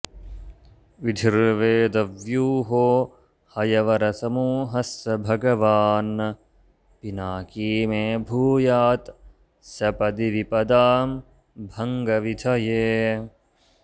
विधिर्वेदव्यूहो हयवरसमूहः स भगवान् पिनाकी मे भूयात् सपदि विपदां भङ्गविधये